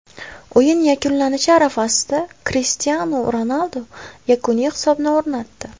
O‘yin yakunlanishi arafasida Krishtianu Ronaldu yakuniy hisobni o‘rnatdi.